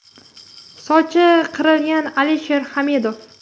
Sochi qirqilgan Alisher Hamidov.